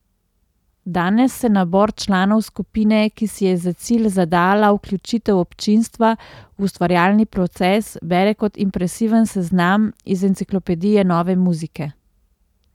Danes se nabor članov skupine, ki si je za cilj zadala vključitev občinstva v ustvarjalni proces, bere kot impresiven seznam iz enciklopedije nove muzike.